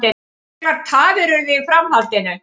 Miklar tafir urðu í framhaldinu